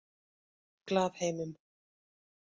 Glaðheimum